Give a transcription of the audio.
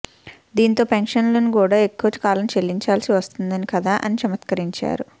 దీంతో పెన్షన్లు కూడా ఎక్కువ కాలం చెల్లించాల్సి వస్తోందని కదా అని చమత్కరించారు